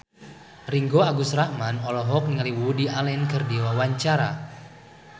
Ringgo Agus Rahman olohok ningali Woody Allen keur diwawancara